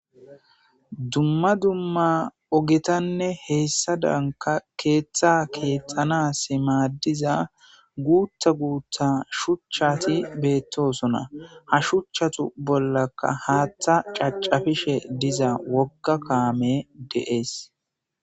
dumma dumma ogetanne heyssadanka keeththa keexanasi maadiza guutha guutha shuchchati beettosona ha shuchchatu bollaka haattha cacafishe diza wogga kaame de7ees